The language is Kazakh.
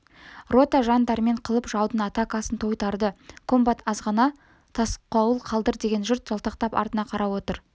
рота жан-дәрмен қылып жаудың атакасын тойтарды комбат азғана тосқауыл қалдыр деген жұрт жалтақтап артына қарап отыр